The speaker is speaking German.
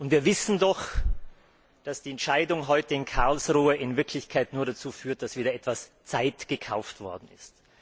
Wir wissen, dass die Entscheidung heute in Karlsruhe in Wirklichkeit nur dazu führt, dass wieder etwas Zeit gekauft worden ist.